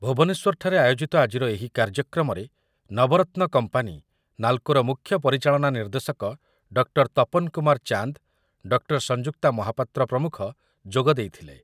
ଭୁବନେଶ୍ୱରଠାରେ ଆୟୋଜିତ ଆଜିର ଏହି କାର୍ଯ୍ୟକ୍ରମରେ ନବରତ୍ନ କମ୍ପାନୀ ନାଲ୍‌କୋର ମୁଖ୍ୟ ପରିଚାଳନା ନିର୍ଦ୍ଦେଶକ ଡକ୍ଟର ତପନ କୁମାର ଚାନ୍ଦ, ଡକ୍ଟର ସଂଯୁକ୍ତା ମହାପାତ୍ର ପ୍ରମୁଖ ଯୋଗ ଦେଇଥିଲେ ।